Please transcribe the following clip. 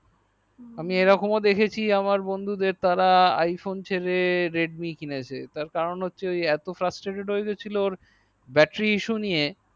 আমি এইরকম ও দেখছি আমার বন্ধুদের তারা iphone ছেরে ridmi কিনছে তার কারণ হচ্ছে তারা এত fastrated হয়ে গেছিল ওর battery issue নিয়ে